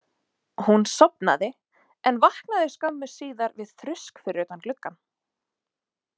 Hún sofnaði en vaknaði skömmu síðar við þrusk fyrir utan gluggann.